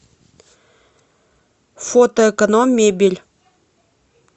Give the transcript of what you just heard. фото эконом мебель